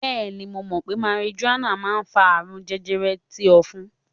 Bẹẹni, mo mọ̀ pé marijuana máa ń fa àrùn jẹjẹrẹ ti ofun.